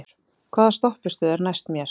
Þórgunnur, hvaða stoppistöð er næst mér?